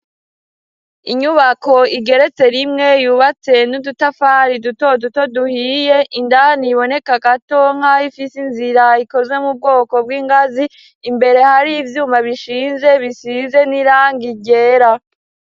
Inyubako igeretse rimwe, yubatse n'udutafari duto duto duhiye. Indani iboneka gato nk'abo ifise inzira ikozwe mu bwoko bw'ingazi; imbere hari ivyuma bishinze bisize n'irangi ryera.